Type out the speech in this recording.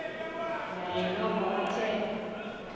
naye noko athe